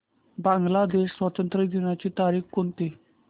बांग्लादेश स्वातंत्र्य दिनाची तारीख कोणती